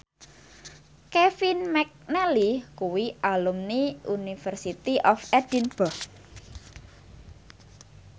Kevin McNally kuwi alumni University of Edinburgh